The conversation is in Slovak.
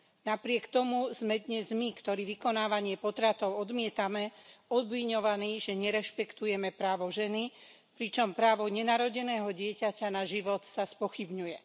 Napriek tomu sme dnes my, ktorí vykonávanie potratov odmietame, obviňovaní, že nerešpektujeme právo ženy, pričom právo nenarodeného dieťaťa na život sa spochybňuje.